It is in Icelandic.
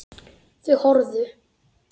Þau horfðu.